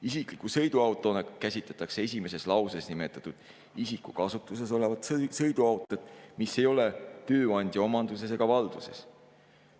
Isikliku sõiduautona käsitatakse esimeses lauses nimetatud isiku kasutuses olevat sõiduautot, mis ei ole tööandja omanduses ega valduses.